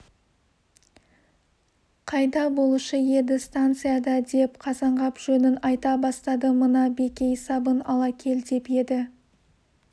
қайда болушы еді станцияда деп қазанғап жөнін айта бастады мына бекей сабын ала кел деп еді